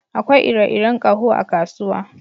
Akwai ire-iren ƙaho a kasuwa